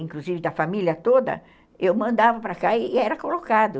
inclusive da família toda, eu mandava para cá e era colocado.